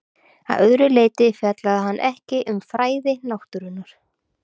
Að öðru leyti fjallaði hann ekki um fræði náttúrunnar.